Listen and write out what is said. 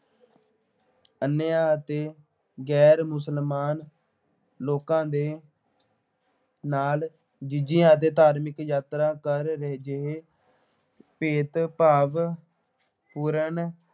ਅਨਿਆਂ ਅਤੇ ਗੈਰ ਮੁਸਲਮਾਨ ਲੋਕਾਂ ਦੇ ਨਾਲ ਜਜ਼ੀਆ ਅਤੇ ਧਾਰਮਿਕ ਯਾਤਰਾ ਕਰ ਜਿਹੇ ਭੇਦਭਾਵ ਪੂਰਨ